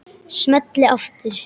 Smelli aftur.